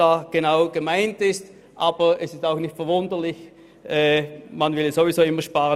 Aber es ist auch nicht verwunderlich, denn man will in diesem Bereich ohnehin immer sparen.